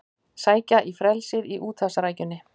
Sækja í frelsið í úthafsrækjunni